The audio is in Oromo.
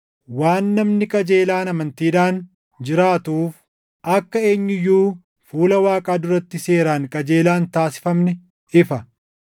Waan, “Namni qajeelaan amantiidhaan jiraatuuf” + 3:11 \+xt Anb 2:4\+xt* akka eenyu iyyuu fuula Waaqaa duratti seeraan qajeelaa hin taasifamne ifa.